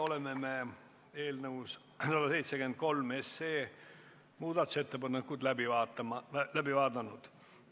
Oleme eelnõu 173 muudatusettepanekud läbi vaadanud.